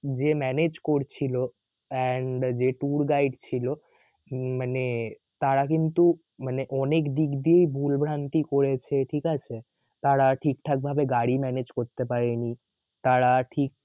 যে manage করছিল and যে tour guide ছিল মানে তারা কিন্তু মানে অনেকদিক দিয়েই ভুলভ্রান্তি করেছে ঠিকাছে তারা ঠিকঠাক ভাবে গাড়ি manage করতে পারে নি তারা ঠিক